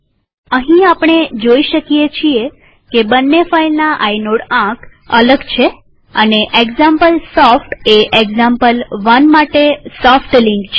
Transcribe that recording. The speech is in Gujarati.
અહીં આપણે જોઈ શકીએ છીએ કે બંને ફાઈલના આઇનોડ આંક અલગ છે અને એક્ઝામ્પલસોફ્ટ એ એક્ઝામ્પલ1 માટે સોફ્ટ લિંક છે